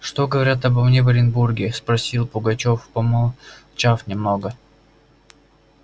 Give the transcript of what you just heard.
что говорят обо мне в оренбурге спросил пугачёв помолчав немного